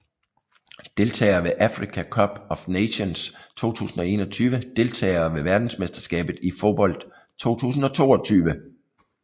Deltagere ved Africa Cup of Nations 2021 Deltagere ved verdensmesterskabet i fodbold 2022